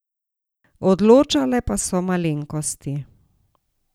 Odločale pa so malenkosti.